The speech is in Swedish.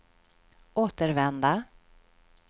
återvända